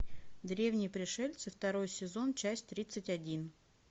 древние пришельцы второй сезон часть тридцать один